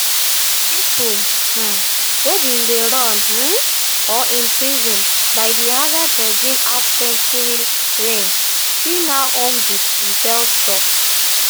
pipo um wey bin run um or imprisoned by di assad regime halfcentury reign fit now home di rebels tok